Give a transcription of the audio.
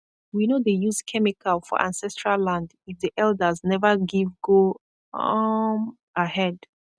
we no dey use chemical for ancestral land if the elders never give go um ahead